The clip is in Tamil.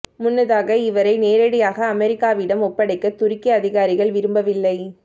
முன்னதாக இவரை நேரடியாக அமெரிக்காவிடம் ஒப்படைக்க துருக்கி அதிகாரிகள் விரும்பவில்லை